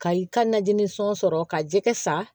Ka i ka najini sɔn sɔrɔ ka jɛgɛ san